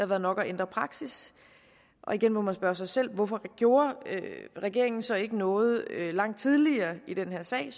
været nok at ændre praksis igen må man spørge sig selv hvorfor gjorde regeringen så ikke noget langt tidligere i den her sag